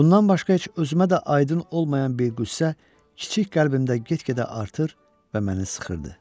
Bundan başqa heç özümə də aydın olmayan bir qüssə kiçik qəlbimdə getdikcə artır və məni sıxırdı.